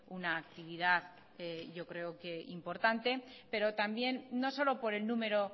una actividad yo creo que importante pero también no solo por el número